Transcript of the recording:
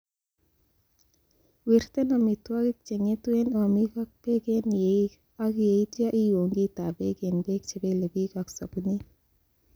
Wirten omitwogik chengetu en omiik ak beek en yeeik, ak yeityo iun kitab beek en beek chebelebik ak sobunit.